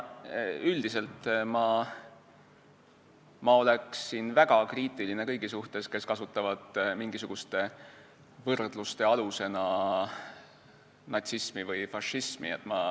Üldiselt ma oleksin väga kriitiline kõigi suhtes, kes kasutavad mingisuguste võrdluste alusena natsismi või fašismi mõistet.